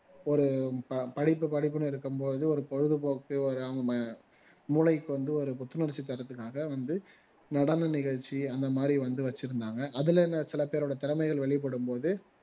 ஒரு ப படிப்பு படிப்புன்னு இருக்கும் போது ஒரு பொழுதுபோக்கு மூளைக்கு வந்து ஒரு புத்துணர்ச்சி தர்றதுக்காக வந்து நடன நிகழ்ச்சி அந்த மாதிரி வந்து வச்சிருந்தாங்க அதுல என்ன சில பேரோட திறமைகள் வெளிப்படும் போது